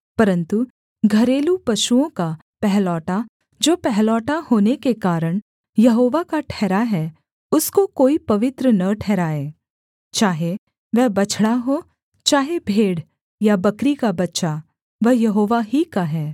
परन्तु घरेलू पशुओं का पहिलौठा जो पहिलौठा होने के कारण यहोवा का ठहरा है उसको कोई पवित्र न ठहराए चाहे वह बछड़ा हो चाहे भेड़ या बकरी का बच्चा वह यहोवा ही का है